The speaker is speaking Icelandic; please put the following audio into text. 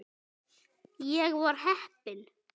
Ég var heppin.